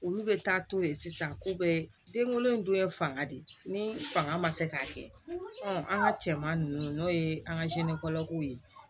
Olu bɛ taa to yen sisan ko be den wolo don ye fanga de ye ni fanga ma se k'a kɛ an ka cɛman ninnu n'o ye an ka kow ye